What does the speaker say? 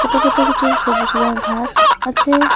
ছোট ছোট কিছু সবুজ রঙের ঘাস আছে।